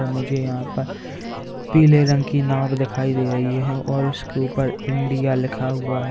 मुझे यहां पर पीले रंग की नांव दिखाई दे रही है और उसके ऊपर इंडिया लिखा हुआ है।